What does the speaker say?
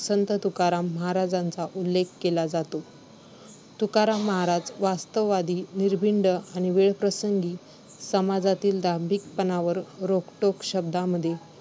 तुकाराम महाराजांचा उल्लेख केला जातो. तुकाराम महाराज वास्तववादी निर्भीड आणि वेळप्रसंगी समाजातील दांभिकपणावर रोखठोक शब्दांमध्ये